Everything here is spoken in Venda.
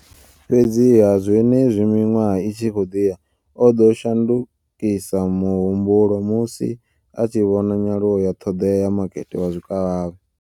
Fhedziha, zwenezwi miṅwaha i tshi khou ḓi ya, o ḓo shandukisa muhumbulo musi a tshi vhona nyaluwo ya ṱhoḓea ya makete wa zwikavhavhe.